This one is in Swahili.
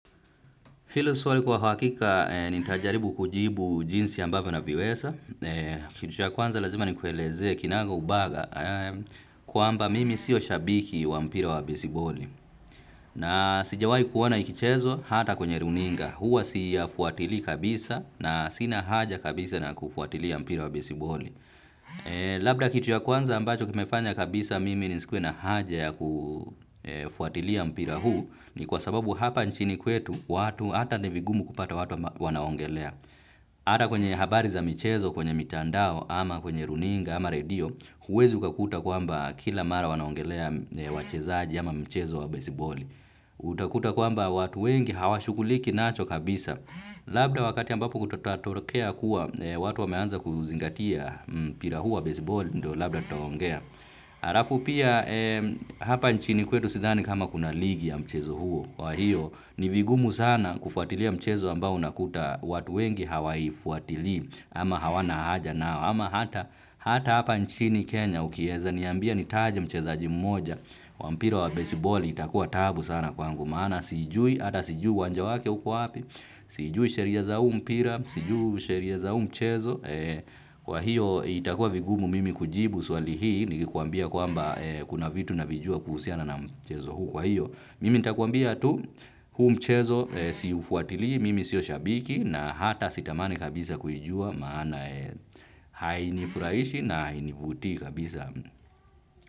Hilo swali kwa hakika nitajaribu kujibu jinsi ambavyo naviweza. Kitu cha kwanza lazima nikueleze kinaga ubaga kwamba mimi siyo shabiki wa mpira wa besiboli. Na sijawahi kuona ikichezwa hata kwenye runinga. Huwa siyafuatilii kabisa na sina haja kabisa na kufuatilia mpira wa besiboli. Labda kitu ya kwanza ambacho kimefanya kabisa mimi nisikuwe na haja ya kufuatilia mpira huu ni kwa sababu hapa nchini kwetu watu hata ni vigumu kupata watu wanaongelea. Hata kwenye habari za michezo, kwenye mitandao, ama kwenye runinga, ama radio, huwezi ukakuta kwamba kila mara wanaongelea wachezaji ama mchezo wa besiboli. Utakuta kwamba watu wengi hawashughuliki nacho kabisa. Labda wakati ambapo kutatolokea kuwa, watu wameanza kuzingatia mpira huu wa besiboli, ndio labda tutaongea. Alafu pia hapa nchini kwetu sidhani kama kuna ligi ya mchezo huo. Kwa hiyo ni vigumu sana kufuatilia mchezo ambao unakuta watu wengi hawaifuatili. Ama hawana haja nao ama hata hata hapa nchini Kenya ukieza niambia nitaje mchezaji moja wa mpira wa besiboli itakuwa taabu sana kwangu. Maana siijui ata siijui uwanja wake uko wapi. Sijui sheria za huu mpira, sijui sheria za huu mchezo kwa hiyo itakua vigumu mimi kujibu swali hii nikuambia kwamba kuna vitu navijua kuhusiana na mchezo huu kwa hiyo mimi nitakuambia tu huu mchezo siufuatili mimi sio shabiki na hata sitamani kabisa kuijua maana hainifurahishi na hainivutii kabisa.